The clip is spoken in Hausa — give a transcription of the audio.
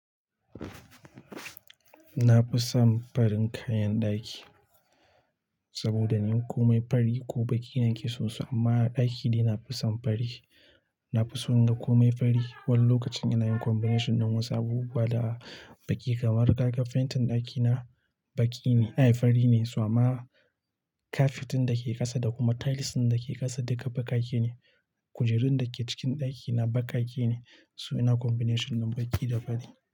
Na fi son farin kayan ɗaki saboda ini komai fari ko baƙi na ƙi sosai. Amma a ɗaki daina na fi son fari. Na fi son na komai fari wani lokacin ina yin combination ɗin wasu abubuwa da baƙi kamar ka ga fentin ɗakina baƙi ne, ayi fari ne, sama kafitin da ke ƙasa da kuma tiles ɗin da ke ƙasa duka baƙaƙe ne. Kujerun da ke cikin ɗakina baƙaƙe ne. Su ina combination ɗin baƙi da fari.